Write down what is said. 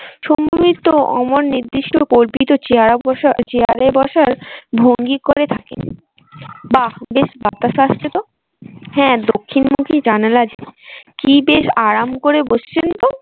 শম্ভু মিত্র অমর নিদিষ্ট কল্পিত চেয়ারে বসার ভঙ্গি করে থাকেন বা বেশ বাতাস আসছে তো হ্যাঁ দক্ষিণ মুখী জানালা যে কি বেশ আরাম করে বসছেন তো